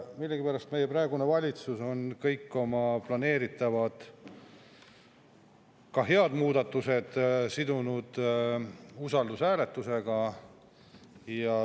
Millegipärast meie praegune valitsus on kõik oma planeeritavad, ka head muudatused sidunud usaldushääletusega.